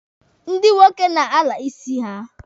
Ndị nwoke na-ala isi ha.